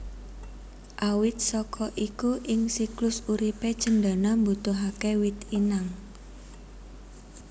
Awit saka iku ing siklus uripe cendana mbutuhake wit inang